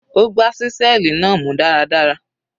Ó gbá ṣíṣẹ́ẹ̀lì náà mú dáradára.